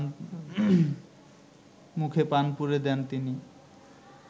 মুখে পান পুরে দেন তিনি